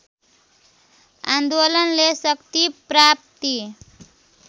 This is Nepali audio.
आन्दोलनले शक्ति प्राप्ति